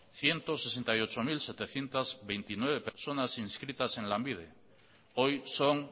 ciento sesenta y ocho mil setecientos veintinueve personas inscritas en lanbide hoy son